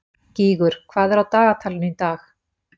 Gígur, hvað er á dagatalinu í dag?